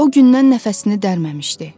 O gündən nəfəsini dərməmişdi.